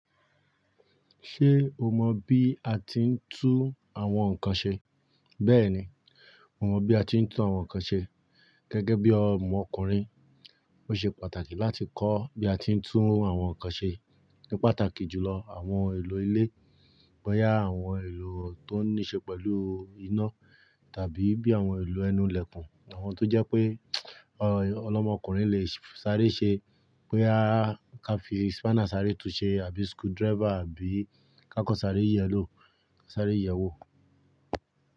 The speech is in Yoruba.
Ṣé o mọ bí a ti ń tún àwọn nnkan ṣe? Bẹ́ẹ̀ni, mo mọ bí a ti ń tún àwọn nnkan ṣe. Gẹ́gẹ́ bí ọmọkùnrin, ó ṣe pàtàkì láti kọ́ bí a ti ń tún àwọn nnkan ṣe, ní pàtàkì jùlọ àwọn ohun èlò ilé. Boyà àwọn ohun èlò tó níí ṣe pẹ̀lú iná tàbí bí àwọn ohun èlò ẹnu ilẹ̀kùn. Àwọn tó jẹ́ pé ọlọ́mọkùnrin lè sáré ṣe, boya ka fi spana sáré tun ṣe àbí screwdriver àbí kákọ́ sáré iyẹ̀lú, sáré yẹ̀wò.